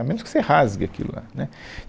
A menos que você rasgue aquilo lá, né